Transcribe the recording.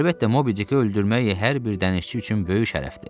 Əlbəttə, Mobi Diki öldürmək hər bir dənizçi üçün böyük şərəfdir.